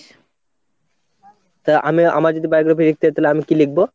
তা তাহলে আমি আমার যদি biography লিখতে তাহলে আমি কি লিখবো?